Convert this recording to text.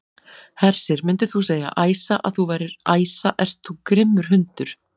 Hersir: Myndir þú segja, Æsa, að þú værir, Æsa ert þú grimmur hundur?